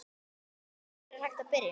Hvar er hægt að byrja?